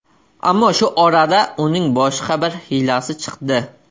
Ammo shu orada uning boshqa bir hiylasi chiqdi.